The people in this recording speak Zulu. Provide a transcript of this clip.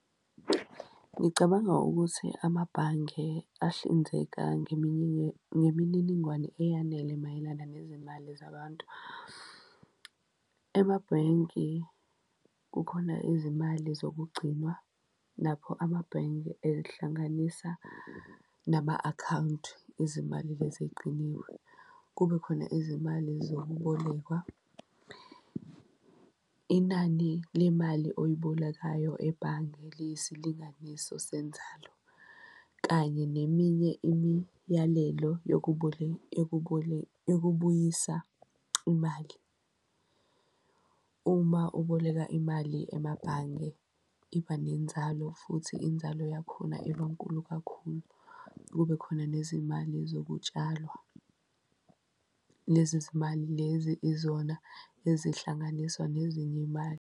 Ngicabanga ukuthi amabhange ahlinzeka ngemininingwane eyanele mayelana nezimali zabantu. Emabhenki kukhona izimali zokugcinwa lapho amabhenki ehlanganisa nama-akhawunti, izimali lezi eyigciniwe, kube khona izimali zokubolekwa. Inani lemali oyibolekayo ebhange liyisilinganiso senzalo kanye neminye imiyalelo yokubuyisa imali. Uma uboleka imali emabhange, iba nenzalo futhi inzalo yakhona ibankulu kakhulu. Kube khona nezimali zokutshalwa lezi zimali lezi izona ezihlanganiswa nezinye imali.